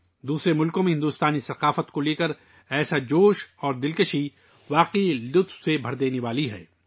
دوسرے ممالک میں بھارتی ثقافت کے لئے ، اس طرح کا جوش و جذبہ واقعی دل کو خوش کرنے والا ہے